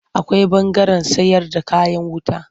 Akwai ɓangaren sayarda kayan wuta.